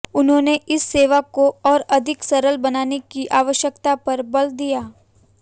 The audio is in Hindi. उन्होंने इस सेवा को और अधिक सरल बनाने की आवश्यकता पर बल दिया